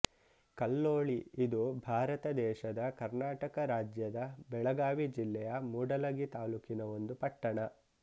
ಕಲ್ಲೋಳಿ ಇದು ಭಾರತ ದೇಶದ ಕರ್ನಾಟಕ ರಾಜ್ಯದ ಬೆಳಗಾವಿ ಜಿಲ್ಲೆ ಯ ಮೂಡಲಗಿ ತಾಲೂಕಿನ ಒಂದು ಪಟ್ಟಣ